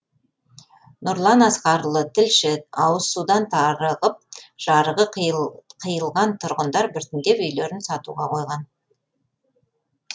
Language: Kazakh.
нұрлан асқарұлы тілші ауызсудан тарығып жарығы қиылған тұрғындар біртіндеп үйлерін сатуға қойған